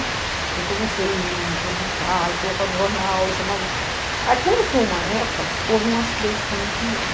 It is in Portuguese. E eu comecei a reivindicar, e colocar no jornal, e chamava... Aí quando foi uma época, houve um acidente com a minha cunhada.